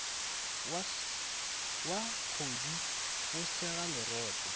wa kgodu o sega lerotse